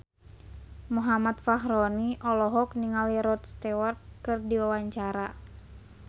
Muhammad Fachroni olohok ningali Rod Stewart keur diwawancara